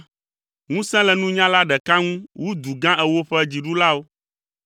Ŋusẽ le nunyala ɖeka ŋu wu du gã ewo ƒe dziɖulawo!